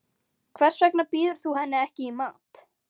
Hvers vegna býður þú henni ekki í mat.